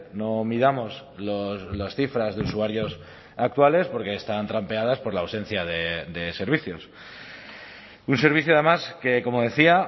no miramos las cifras de usuarios actuales porque están trampeadas por la ausencia de servicios un servicio además que como decía